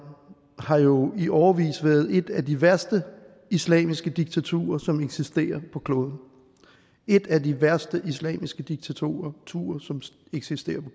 har jo i årevis været et af de værste islamiske diktaturer som eksisterer på kloden et af de værste islamiske diktaturer som eksisterer på